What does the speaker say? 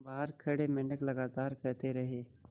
बाहर खड़े मेंढक लगातार कहते रहे